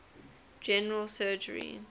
general surgery